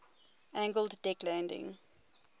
angled deck landing